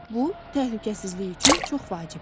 Bu, təhlükəsizlik üçün çox vacibdir.